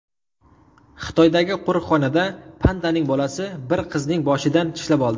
Xitoydagi qo‘riqxonada pandaning bolasi bir qizning boshidan tishlab oldi .